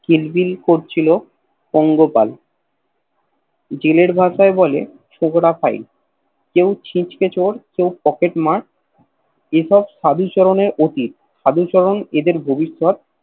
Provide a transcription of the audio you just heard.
কিলবিল করছিল পঙ্গপাল জেলের ভাষায় বলে ছোকরা ফায় কেও ছিছকে চোর কেও পকেট মার এসব সাধুচরণের অতীত সাধুচরণ এদের ভবিষৎ